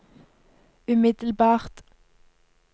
umiddelbart